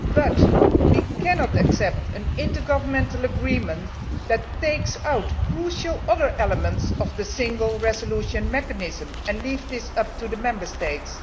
but we cannot accept an intergovernmental agreement that takes out other crucial elements of the Single Resolution Mechanism and leaves them to the discretion of the Member States.